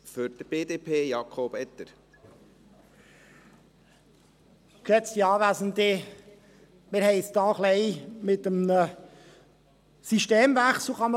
Man kann fast sagen, wir haben es hier mit einem Systemwechsel zu tun.